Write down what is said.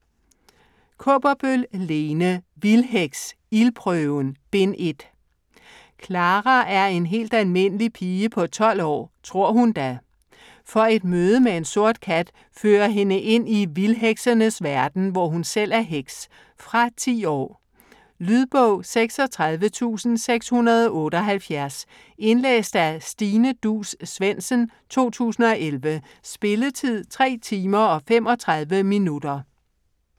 Kaaberbøl, Lene: Vildheks: Ildprøven: Bind 1 Clara er en helt almindelig pige på 12 år. Tror hun da. For et møde med en sort kat fører hende ind i vildheksenes verden, hvor hun selv er heks. Fra 10 år. Lydbog 36678 Indlæst af Stine Duus Svendsen, 2011. Spilletid: 3 timer, 35 minutter.